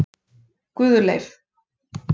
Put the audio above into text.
Guðleif